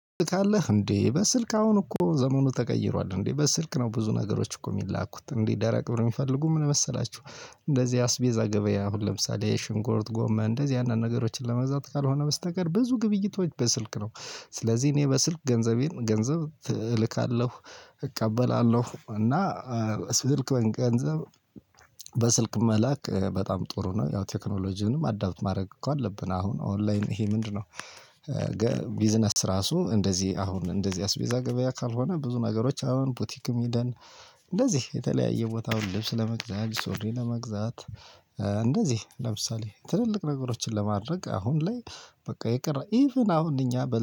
ካለህ እንዴ በስልክ አሁን እኮ ዘመኑ ተቀይሯል እንዴ በስልክ ነው ብዙ ነገሮች እኮ የሚላኩት እንዴ ደረቅ ነው የሚፈልጉ ምን መሰላችሁ? እንደዚህ አስቤዛ ገበያ አሁን ለምሳሌ ሽንኩርት ጎመን እንደዚህ አንዳንድ ነገሮችን ለመግዛት ካልሆነ በስተቀር ብዙ ግብይቶች በስልክ ነው። ስለዚህ እኔ በስልክ ገንዘቤን ገንዘብ እልካለሁ። እቀበላለሁ እና ስልክ ገንዘብ። በስልክ መላክ በጣም ጥሩ ነው። ያው ቴክኖሎጂንም አዳፕት ማድረግ እኮ አለብን አሁን ኦንላይን ይሄ ምንድነው? ቢዝነስ ራሱ እንደዚህ አሁን እንደዚህ አስቤዛ ገበያ ካልሆነ ብዙ ነገሮች አሁን ቡቲክም ሂደን። እንደዚህ የተለያየ ቦታአሁን ልብስ ለመግዛት ሱሪ ለመግዛት። እንደዚህ ለምሳሌ ትልልቅ ነገሮችን ለማድረግ አሁን ላይ በቃ ይቅር ኢቭን አሁን እኛ በ